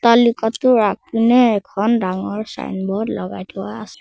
আলি পথটোৰ আগপিনে এখন ডাঙৰ ছাইনবোৰ্ড লগাই থোৱা আছে।